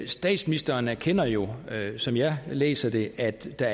statsministeren erkender jo som jeg læser det at der